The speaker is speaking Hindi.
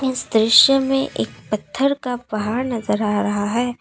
इस दृश्य में एक पत्थर का पहाड़ नजर आ रहा है।